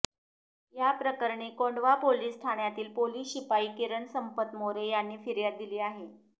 याप्रकरणी कोंढवा पोलीस ठाण्यातील पोलीस शिपाई किरण संपत मोरे यांनी फिर्याद दिली आहे